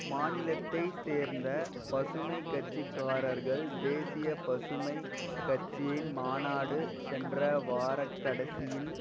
மாநிலத்தை சேர்ந்த பசுமை கட்சி காரர்கள் தேசிய பசுமை கட்சியின் மாநாடு சென்ற வாரக்கடைசியின்